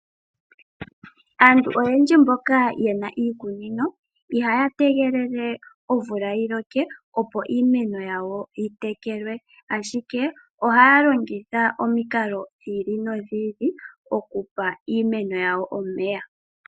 Aantu oyendji mboka yena iikunino ihaya tegelela omvula yiloke opo iimeno yawo yi tekelwe, ashike ohaya longitha omikalo dhi ili nodhi ili okupa iimeno yawo omeya.